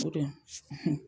O dun